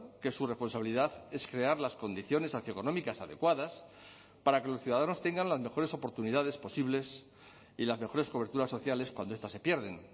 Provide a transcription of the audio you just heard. que su responsabilidad es crear las condiciones socioeconómicas adecuadas para que los ciudadanos tengan las mejores oportunidades posibles y las mejores coberturas sociales cuando estas se pierden